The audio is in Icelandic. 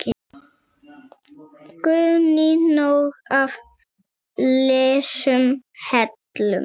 Guðný: Nóg af lausum hellum?